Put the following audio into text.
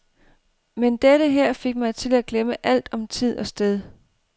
Men dette her fik mig til at glemme alt om tid og sted.